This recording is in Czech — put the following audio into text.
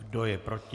Kdo je proti?